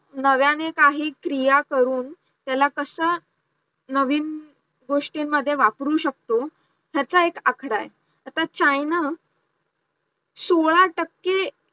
नव्याने काही क्रिया करून त्याला कसं नवीन गोषीतनमध्ये वापरू शकतो त्याचा एक आकडा आहे, आता चायना सोडा टक्के